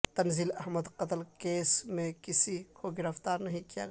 تنزیل احمد قتل کیس میں کسی کو گرفتار نہیں کیا گیا